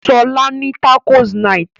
Sola ní tacos night